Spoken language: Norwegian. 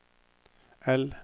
L